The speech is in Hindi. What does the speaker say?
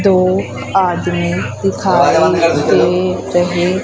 दो आदमी दिखाई दे रहे--